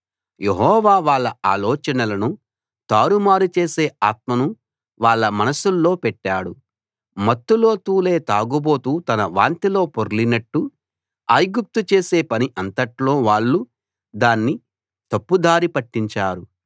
యెహోవా వాళ్ళ ఆలోచనలను తారుమారు చేసే ఆత్మను వాళ్ళ మనస్సుల్లో పెట్టాడు మత్తులో తూలే తాగుబోతు తన వాంతిలో పొర్లినట్టు ఐగుప్తు చేసే పని అంతట్లో వాళ్ళు దాన్ని తప్పుదారి పట్టించారు